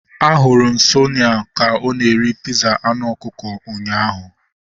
A hụrụ m Tonia ka ọ na-eri piza anụ ọkụkọ ụnyaahụ